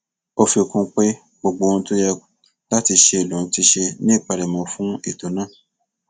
ó fi kún un pé gbogbo ohun tó yẹ láti ṣe lòun ti ṣe ní ìpalẹmọ fún ètò náà